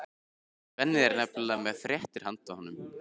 Svenni er nefnilega með fréttir handa honum.